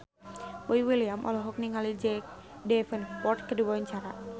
Boy William olohok ningali Jack Davenport keur diwawancara